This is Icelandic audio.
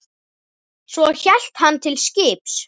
Svo hélt hann til skips.